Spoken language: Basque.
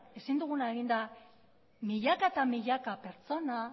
ezin duguna egin da milaka eta milaka pertsona